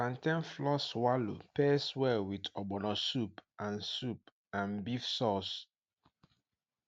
plantain flour swallow pairs well with ogbono soup and soup and beef sauce